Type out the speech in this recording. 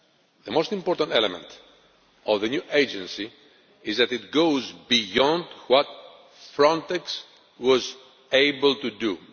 The most important element of the new Agency is that it goes beyond what Frontex was able to